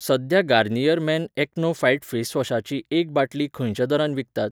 सध्या Garnier Men AcnoFight फेसवॉशाची एक बाटली खंयच्या दरान विकतात?